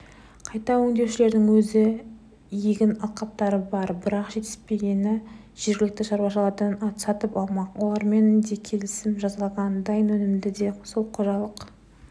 қайта өңдеушілердің өз егін алқаптары бар бірақ жетіспегенін жергілікті шаруалардан сатып алмақ олармен де келісім жасалған дайын өнімді де сол қожалық